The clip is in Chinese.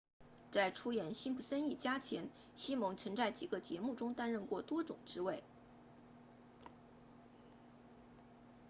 在出演辛普森一家前西蒙曾在几个节目中担任过多种职位